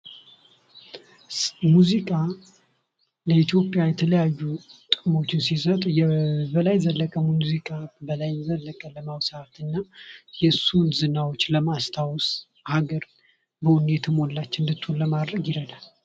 ሙዚቃ ለኢትዮጵያ የተለያዩ ጥቅሞችን ሲሰጥ የበላይ ዘለቀ ሙዚቃ በላይ ዘለቀን ለመውሳት እና የሱን ዝናዎችን ለማስታወስ ሀገር በወኔ የተሞላች እንድትሆን ለማድረግ ይረዳል።